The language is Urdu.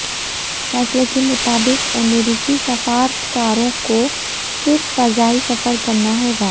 فیصلے کے مطابق امریکی سفارتکاروں کو صرف فضائی سفر کرنا ہوگا